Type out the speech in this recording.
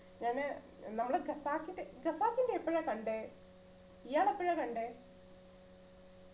ഞാന് നമ്മളെ ഖസാക്കിന്റെ ഖസാക്കിന്റെ എപ്പോഴാ കണ്ടേ ഇയാൾ എപ്പോഴാ കണ്ടേ